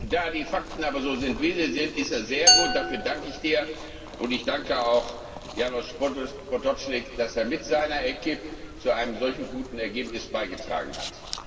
Da die Fakten aber so sind, wie sie sind, ist er sehr gut, und dafür danke ich Dir und ich danke auch Janez Potočnik, dass er mit seiner Equipe zu einem solchen guten Ergebnis beigetragen hat.